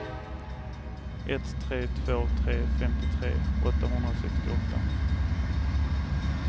ett tre två tre femtiotre åttahundrasextioåtta